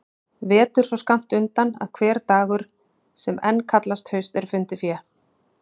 Vetur svo skammt undan að hver dagur sem enn kallast haust er fundið fé.